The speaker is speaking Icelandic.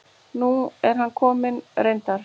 Nú er hann kominn reyndar.